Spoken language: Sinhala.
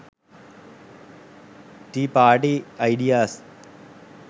tea party ideas